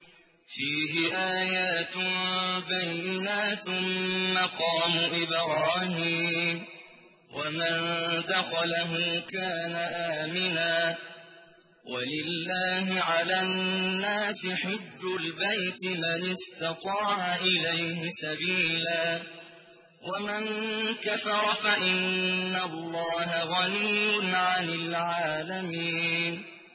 فِيهِ آيَاتٌ بَيِّنَاتٌ مَّقَامُ إِبْرَاهِيمَ ۖ وَمَن دَخَلَهُ كَانَ آمِنًا ۗ وَلِلَّهِ عَلَى النَّاسِ حِجُّ الْبَيْتِ مَنِ اسْتَطَاعَ إِلَيْهِ سَبِيلًا ۚ وَمَن كَفَرَ فَإِنَّ اللَّهَ غَنِيٌّ عَنِ الْعَالَمِينَ